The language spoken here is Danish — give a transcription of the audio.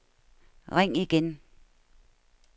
ring igen